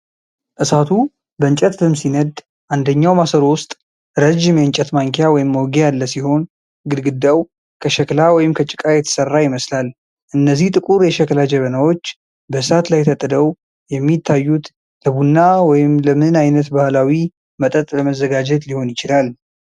እሳቱ በእንጨት ፍም ሲነድ፣ አንደኛው ማሰሮ ውስጥ ረጅም የእንጨት ማንኪያ/መውጊያ ያለ ሲሆን፣ ግድግዳው ከሸክላ ወይም ከጭቃ የተሠራ ይመስላል። እነዚህ ጥቁር የሸክላ ጀበናዎች በእሳት ላይ ተጥደው የሚታዩት ለቡና ወይም ለምን አይነት ባህላዊ መጠጥ ለመዘጋጀት ሊሆን ይችላል?